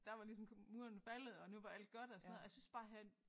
Der var ligesom muren faldet og nu var alt godt og sådan noget og jeg synes bare her